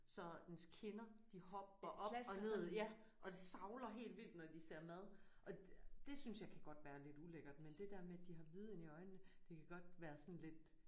Så dens kinder de hopper op og ned ja og de savler helt vildt når de ser mad og det synes jeg kan godt være lidt ulækkert men det der med de har hvide inde i øjnene det kan godt være sådan lidt